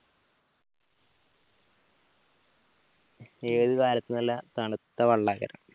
ഏത് കാലത്തും നല്ല തണുത്ത വെള്ളാ